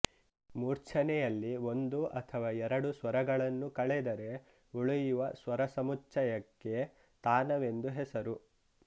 ಮೂರ್ಛನೆಯಲ್ಲಿ ಒಂದು ಅಥವಾ ಎರಡು ಸ್ವರಗಳನ್ನು ಕಳೆದರೆ ಉಳಿಯುವ ಸ್ವರಸಮುಚ್ಚಯಕ್ಕೆ ತಾನವೆಂದು ಹೆಸರು